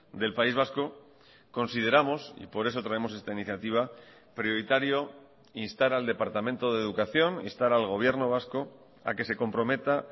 del país vasco consideramos y por eso traemos esta iniciativa prioritario instar al departamento de educación instar al gobierno vasco a que se comprometa